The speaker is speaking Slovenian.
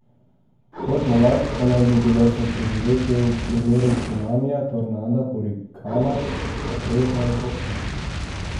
Kot nalašč pa naj bi bila za preživetje v primeru cunamija, tornada, hurikana, potresa in poplav.